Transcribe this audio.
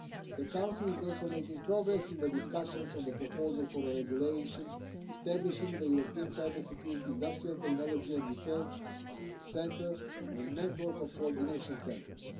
The Council is also making progress in the discussions on the proposal for a regulation establishing the European Cybersecurity Industrial Technology and Research Centre and network of coordination centres.